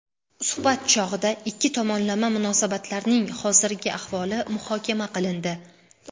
Suhbat chog‘ida ikki tomonlama munosabatlarning hozirgi ahvoli muhokama qilindi.